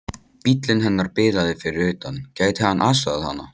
Bíllinn hennar bilaði fyrir utan, gæti hann aðstoðað hana?